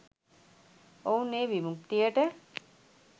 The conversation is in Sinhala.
ඔවුන් ඒ විමුක්තියට